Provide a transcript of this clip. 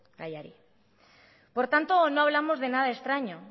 gaiari por tanto no hablamos de nada extraño